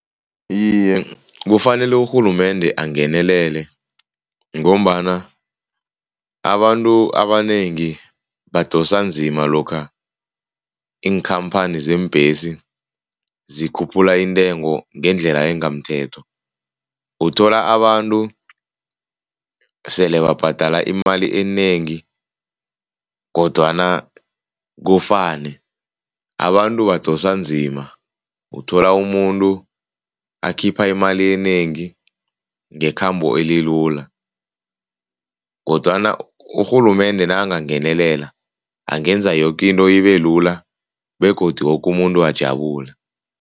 Iye, kufanele urhulumende angenelele ngombana abantu abanengi badosa nzima lokha iinkhamphani zeembhesi zikhuphula intengo ngendlela engamthetho. Uthola abantu sele babhadela imali enengi kodwana kufane. Abantu abadosa nzima, uthola umuntu akhipha imali enengi ngekhambo elilula kodwana urhulumende nakangangenelela angenza yoke into ibelula begodu woke umuntu ajabule.